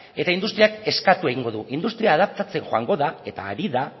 eta industriak eskatu egingo du industria adaptatzen joango da eta ari da